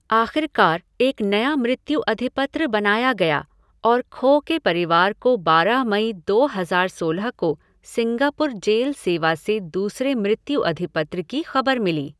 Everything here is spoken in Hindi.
आख़िरकार एक नया मृत्यु अधिपत्र बनाया गया और खो के परिवार को बारह मई दो हज़ार सोलह को सिंगापुर जेल सेवा से दूसरे मृत्यु अधिपत्र की खबर मिली।